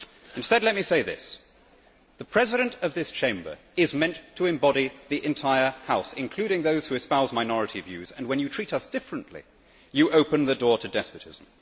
Instead, let me say this the President of this Chamber is meant to embody the entire House, including those who espouse minority views, and when you treat us differently you open the door to despotism.